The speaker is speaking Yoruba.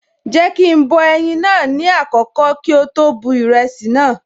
Jéèkì ń bọ ẹyin naa ní àkọ́kọ́ kí ó tó bu ìrẹsì naa